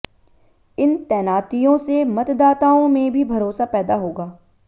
इन तैनातियों से मतदाताओं में भी भरोसा पैदा होगा